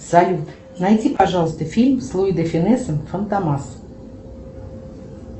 салют найди пожалуйста фильм с луи де фюнесом фантомас